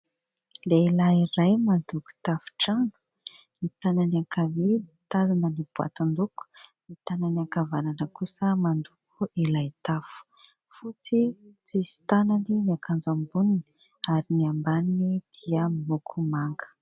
Lehilahy iray mandoko tafon-trano, ny tanany ankavia mitazona ny boatin-doko, ny tanany ankavanana kosa mandoko ilay tafo, fotsy tsisy tanany ny akanjo amboniny ary ny ambaniny dia miloko manga.